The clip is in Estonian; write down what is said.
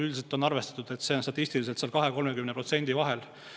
Üldiselt on arvestatud, et see on statistiliselt 20–30% vahel.